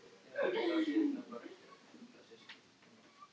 En hvað með líf á öðrum hnöttum?